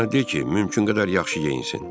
Ona de ki, mümkün qədər yaxşı geyinsin.